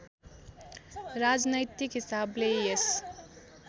राजनैतिक हिसाबले यस